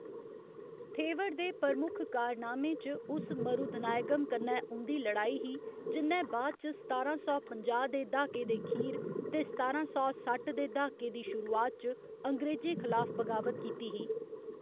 थेवर दे प्रमुख कारनामें च उस मरुधनायगम कन्नै उं'दी लड़ाई ही, जि'न्नै बाद च सतारां सौ पंजाह्‌ दे द्हाके दे अखीर ते सतारां सौ सट्ठ दे द्हाके दी शुरुआत च अंग्रेजें खिलाफ बगावत कीती ही।